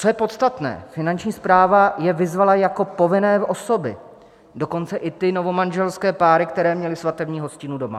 Co je podstatné: Finanční správa je vyzvala jako povinné osoby, dokonce i ty novomanželské páry, které měly svatební hostinu doma.